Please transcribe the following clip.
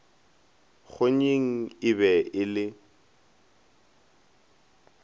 kgonyeng e be e le